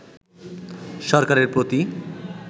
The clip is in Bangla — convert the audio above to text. সরকারের প্রতি